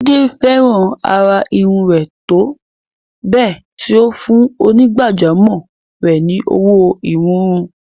Jide fẹ́ràn àrà irun rẹ̀ tó bẹ́ẹ̀ tí ó fún onígbàjámọ̀ rẹ̀ ní owó ìwúrí.